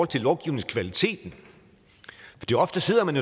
til lovgivningskvaliteten fordi ofte sidder man